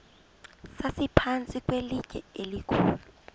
sasiphantsi kwelitye elikhulu